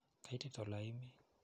Kaitit ole i mii?